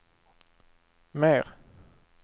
mer